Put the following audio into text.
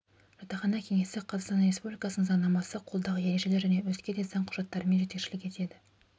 жатақхана кеңесі қазақстан республикасының заңнамасы қолдағы ережелер және өзге де заң құжаттарымен жетекшілік етеді